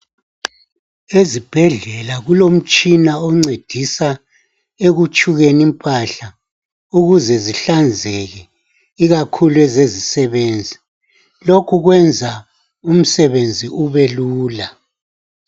Ezibhedlela kulomtshina oncedisa ekutshukeni impahla ukuze zihlanzeke ikakhulu ezezisebenzi lokhu kwenza umsebenzi ubelula.